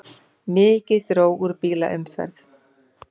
Mikið dró úr bílaumferð